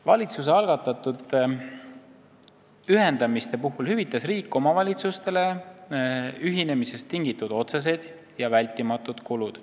Valitsuse algatatud ühendamiste puhul hüvitas riik omavalitsustele ühinemisest tingitud otsesed ja vältimatud kulud.